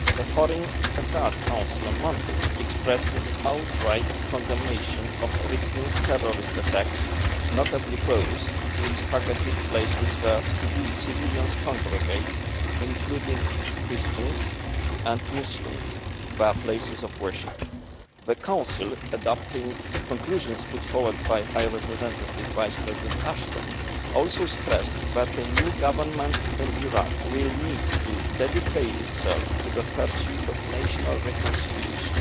The Foreign Affairs Council on Monday expressed its outright condemnation of the recent terrorist attacks, notably those which targeted places where civilians congregate, including Christian and Muslim places of worship. The Council, adopting conclusions put forward by High Representative Vice President Ashton, also stressed that the new government in Iraq will need to dedicate itself to the pursuit of national reconciliation.